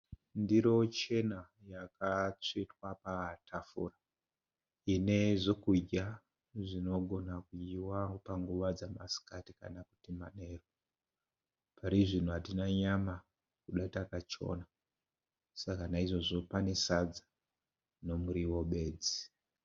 Ndiro chena yatsvetwa patafura ine zvekudya zvinogona kudyiwa panguva dzemasikati kana kuti manheru. Parizvino hatina nyama nekuti takachona naizvozvo pane sadza nemuriwo bedzi .